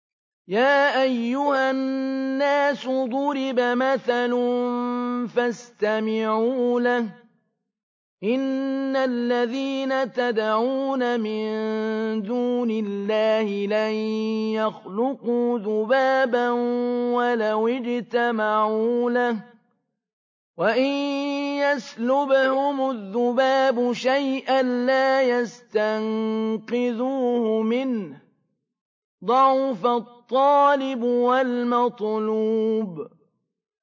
يَا أَيُّهَا النَّاسُ ضُرِبَ مَثَلٌ فَاسْتَمِعُوا لَهُ ۚ إِنَّ الَّذِينَ تَدْعُونَ مِن دُونِ اللَّهِ لَن يَخْلُقُوا ذُبَابًا وَلَوِ اجْتَمَعُوا لَهُ ۖ وَإِن يَسْلُبْهُمُ الذُّبَابُ شَيْئًا لَّا يَسْتَنقِذُوهُ مِنْهُ ۚ ضَعُفَ الطَّالِبُ وَالْمَطْلُوبُ